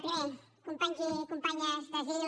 primer companys i companyes d’asil